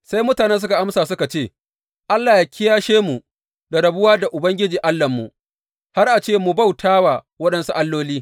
Sai mutanen suka amsa suka ce, Allah ya kiyashe mu da rabuwa da Ubangiji Allahnmu, har a ce mu bauta wa waɗansu alloli!